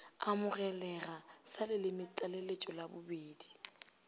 amogelega sa lelemetlaleletšo la bobedi